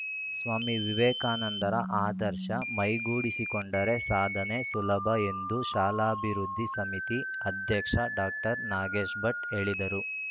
ಸ್ವಾಮಿ ವಿವೇಕಾನಂದರ ಆದರ್ಶ ಮೈಗೂಡಿಸಿಕೊಂಡರೆ ಸಾಧನೆ ಸುಲಭ ಎಂದು ಶಾಲಾಭಿವೃದ್ಧಿ ಸಮಿತಿ ಅಧ್ಯಕ್ಷ ಡಾಕ್ಟರ್ ನಾಗೇಶಭಟ್‌ ಹೇಳಿದರು